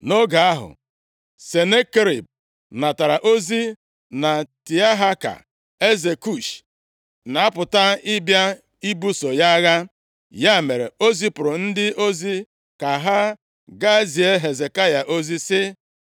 Nʼoge ahụ, Senakerib natara ozi na Tiahaka, eze Kush, + 19:9 Nke a bụ Itiopia ugbu a na-apụta ịbịa ibuso ya agha. Ya mere, o zipụrụ ndị ozi ka ha ga zie Hezekaya ozi, sị,